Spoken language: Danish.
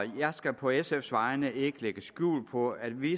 jeg skal på sfs vegne ikke lægge skjul på at vi